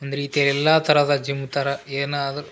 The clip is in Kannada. ಒಂದ್ ರೀತಿಯ ಎಲ್ಲಾ ತರಹದ ಜಿಮ್ ತರ ಏನಾದ್ರು --